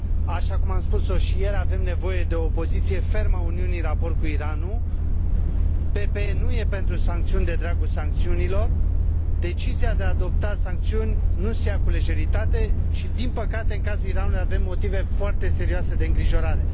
Așa cum am spus o și ieri, avem nevoie de o poziție fermă a Uniunii în raport cu Iranul, PPE nu e pentru sancțiuni de dragul sancțiunilor, decizia de a adopta sancțiuni nu se ia cu lejeritate, și din păcate, în cazul Iranului avem motive foarte serioase de îngrijorare.